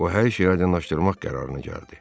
O hər şeyi aydınlaşdırmaq qərarına gəldi.